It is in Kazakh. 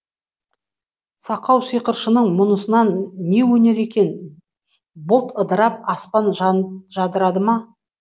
сақау сиқыршының мұнысынан не өнер екен бұлт ыдырап аспан жадырады ма